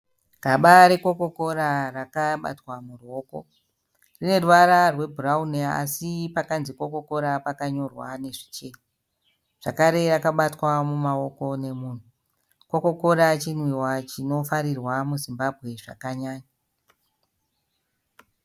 Gaba re Coca-Cola rakabatwa muruoko. Rine ruvara rwe bhurauni así pakanzi Coca-Cola pakanyorwa nezvichena. Zvakare rakabatwa mumaoko nemunhu. Coca -Cola chinwiwa chinofarirwa mu Zimbabwe zvakanyanya.